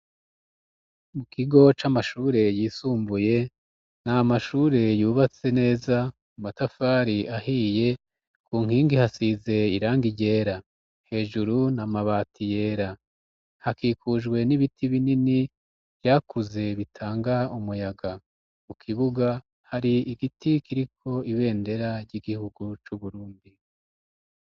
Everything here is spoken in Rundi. Mu kigo c'amashure yisumbuye, nta mashure yubatse neza, amatafari ahiye ku nkingi hasize irangi ryera, hejuru, n'amabati yera, hakikujwe n'ibiti binini vyakuze bitanga umuyaga, mu kibuga hari igiti kiriko ibendera ry'igihugu c'Uburundi.